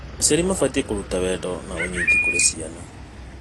Aciari mabatiĩ kũruta wendo na ũnyiti kũrĩ ciana.